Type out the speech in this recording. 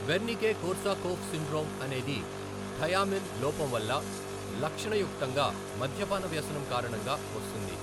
Wernicke Korsakoff syndrome అనేది thiamine లోపం వల్ల, లక్షణయుక్తంగా మద్యపాన వ్యసనం కారణంగా వస్తుంది.